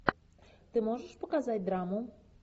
ты можешь показать драму